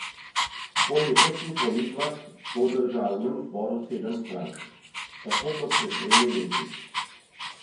Po letošnjih volitvah bo v državnem zboru sedem strank, tako kot pred tremi leti.